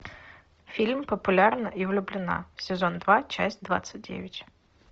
фильм популярна и влюблена сезон два часть двадцать девять